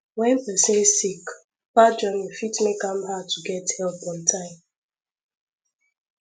when person sick far journey fit make am hard to get help on time